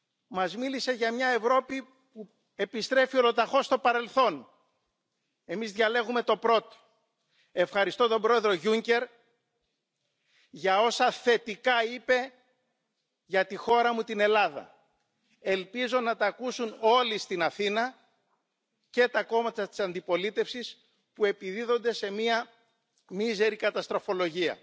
s Vaším důrazem na spolupráci s Afrikou, která je klíčová. S posílením Frontexu sama jsem se přesvědčila, jak je nutné, aby tyto složky ochrany pobřežní a pohraniční stráže byly posíleny, těch 10 tisíc pracovníků může pomoci. Také oceňuji to, že jste vyzdvihl potřebu ochrany lidských práv v Číně, bylo to poprvé, kdy jsem toto od Vás slyšela.